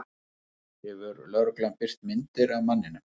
Hefur lögreglan birt myndir af manninum